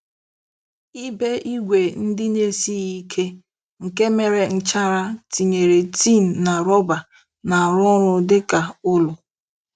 Ibé ígwè ndị na-esighị ike, nke mere nchara, tinyere tin na rọba, na-arụ ọrụ dị ka ụlọ..